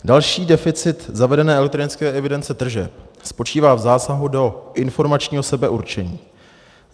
Další deficit zavedené elektronické evidence tržeb spočívá v zásahu do informačního sebeurčení.